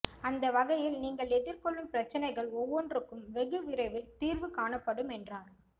அந்தவகையில் நீங்கள் எதிர்கொள்ளும் பிரச்சினைகள் ஒவ்வொன்றுக்கும் வெகு விரைவில் தீர்வு காணப்படும் என்றார்